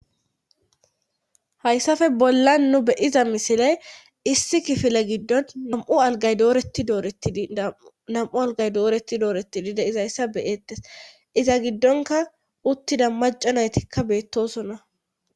Hayssafe bolla nu be'iza misiley issi kifile giddon namu agay dooreti dooretidi nam7u algay dooreti doorettidi deizayssa beyeettes iza giddonka uttida maca naytikka beettosonna.